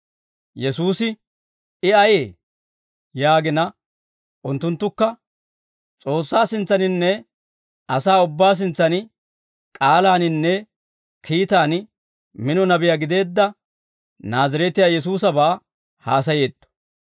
Yesuusi, «I ayee?» yaagina, unttunttukka, «S'oossaa sintsaninne asaa ubbaa sintsan k'aalaaninne kiitaan mino nabiyaa gideedda Naazireetiyaa Yesuusabaa haasayeetto.